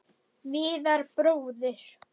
Viðar bróðir.